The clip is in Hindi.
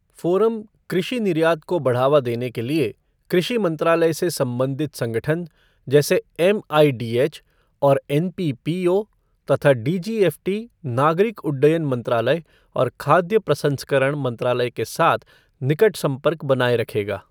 फ़ोरम कृषि निर्यात को बढ़ावा देने के लिए कृषि मंत्रालय से संबंधित संगठन जैसे एमआईडीएच और एनपीपीओ तथा डीजीएफ़टी नागरिक उड्डयन मंत्रालय और खाद्य प्रसंस्करण मंत्रालय के साथ निकट संपर्क बनाए रखेगा।